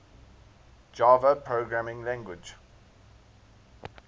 java programming language